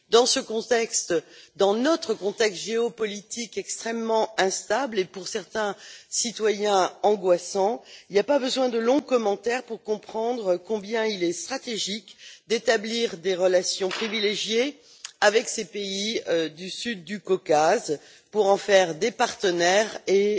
Dans ce contexte, dans notre contexte géopolitique extrêmement instable et pour certains citoyens, angoissant, il n'y a pas besoin de longs commentaires pour comprendre combien il est stratégique d'établir des relations privilégiées avec ces pays du sud du Caucase, pour en faire des partenaires et